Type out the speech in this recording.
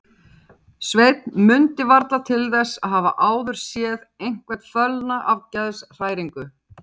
Sveinn mundi varla til þess að hafa áður séð einhvern fölna af geðshræringu.